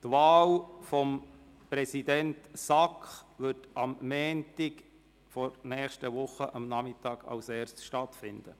Die Wahl des SAK-Präsidenten wird am Montagnachmittag nächster Woche stattfinden.